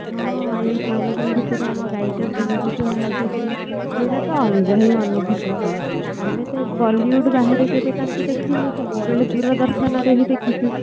ହଁ ଏଇ ଆମ ଗାଇକ ସୁନିଧି ଚୌହାନ ଆସିଥିଲେ ସେଇଟା ତ ଅଲଗା ହିଁ ଅନୁଭୂତି ଥିଲା ଆମେ ତ bollywood ବାହାରେ ତାଙ୍କୁତ କେବେ ତାଙ୍କୁ ଦେଖି ନଥିଲେ ସବୁବେଳେ ଦୂରଦର୍ଶନରେ ହିଁ ଦେଖିଥିଲେ